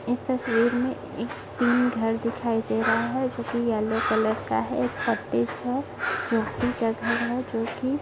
इस तस्वीर मे एक तीन घर दिखाई दे रहा है जो की येल्लो कलर का है कॉटेज है झोपड़ी का घर हैं जो की--